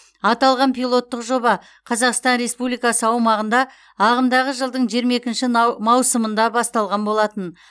аталған пилоттық жоба қазақстан республикасы аумағында ағымдағы жылдың жиырма екінші на маусымында басталған болатын